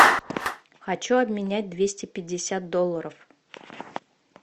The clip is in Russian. хочу обменять двести пятьдесят долларов